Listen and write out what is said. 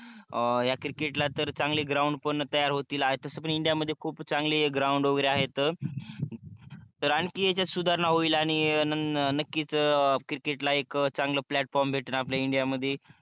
हया cricket ला तर चांगले ground पण तयार होती आणि तसे तर india मध्ये खूप चांगले ground वगेरे आहेत तर आणखि याचात सुधारणा होईल आणि नक्कीच cricket ला एक चांगल platform भेटण आपल्या india मध्ये